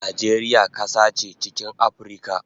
Najeriya kasa che chikin Aprica